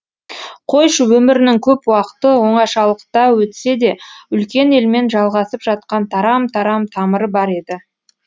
қойшы өмірінің көп уақыты оңашалықта өтсе де үлкен елмен жалғасып жатқан тарам тарам тамыры бар еді